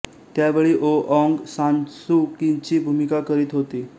त्यावेळी यो Aung San Suu क्यीची भूमिका करीत होती